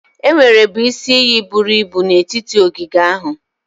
Enwerebu isi iyi buru ibu n'etiti ogige ahụ.